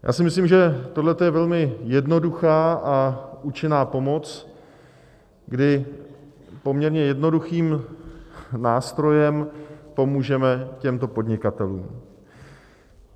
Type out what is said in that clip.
Já si myslím, že tohle je velmi jednoduchá a účinná pomoc, kdy poměrně jednoduchým nástrojem pomůžeme těmto podnikatelům.